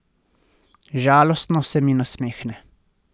Žalostno se mi nasmehne.